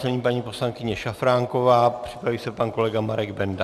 Nyní paní poslankyně Šafránková, připraví se pan kolega Marek Benda.